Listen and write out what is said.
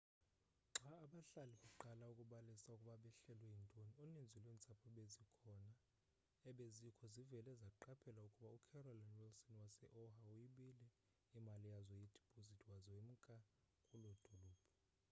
xa abahlali beqala ukubalisa ukuba behlelwe yintoni uninzi lweentsapho ebezikho zivele zqaphela ukuba ucarolyn wilson wase-oha uyibile iimali yazo yedipozithi waza wemka kuloo dolophu